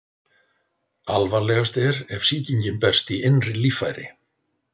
alvarlegast er ef sýkingin berst í innri líffæri